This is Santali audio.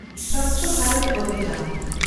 ᱥᱚᱪᱷ ᱵᱷᱮᱱᱰᱚᱛ ᱚᱵᱷᱤᱡᱟᱱ